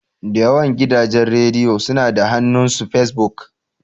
Da yawan gidajen rediyo suna da hannu s Fesbuk.